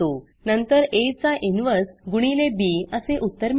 नंतर आ चा इन्व्हर्स गुणिले बी असे उत्तर मिळेल